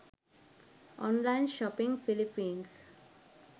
online shopping philippines